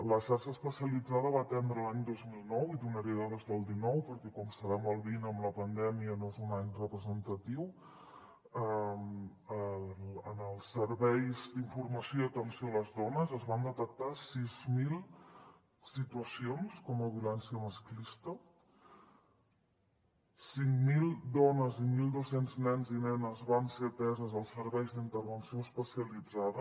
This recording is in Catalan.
la xarxa especialitzada va atendre l’any dos mil dinou i donaré dades del dinou perquè com sabem el vint amb la pandèmia no és un any representatiu en els serveis d’informació i atenció a les dones es van detectar sis mil situacions com a violència masclista cinc mil dones i mil dos cents nens i nenes van ser atesos als serveis d’intervenció especialitzada